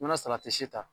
N'i ma salati si ta